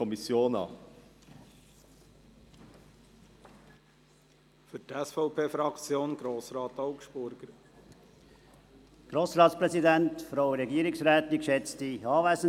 Aus diesem Grund schliessen wir von der EVP uns der Mehrheit der Kommission an.